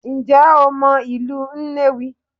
Ǹjẹ́ o mọ ìlú Nnewi?